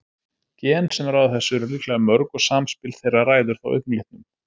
Gen sem ráða þessu eru líklega mörg og samspil þeirra ræður þá augnlitnum.